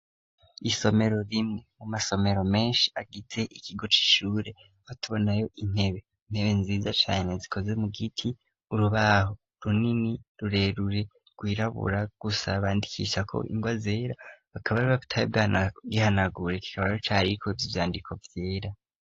Isomero riri mu masomero menshi agize ikigo c'ishure, tubonayo intebe, intebe nziza cane zikoze mu giti, urubaho runini rurerure rwirabura, gusa bandikishako ingwa zera, bakaba batari bwagihanagure, kikaba rero cariko ivyandiko vyera.